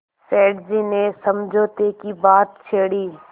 सेठ जी ने समझौते की बात छेड़ी